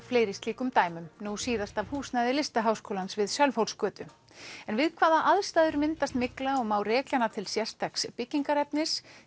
fleiri slíkum dæmum nú síðast af húsnæði Listaháskólans við Sölvhólsgötu en við hvaða aðstæður myndast mygla og má rekja hana til sérstaks byggingarefnis